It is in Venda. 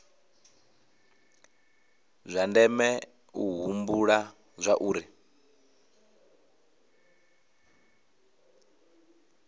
zwa ndeme u humbula zwauri